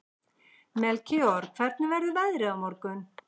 Melkíor, hvernig verður veðrið á morgun?